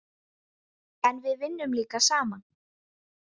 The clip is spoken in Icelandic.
En við vinnum líka saman.